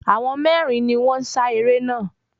Àwọn mérin ni wón n sa eré naa